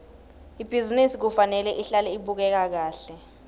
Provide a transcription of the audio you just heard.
ibhizinisi kufanele ihlale ibukeka kahle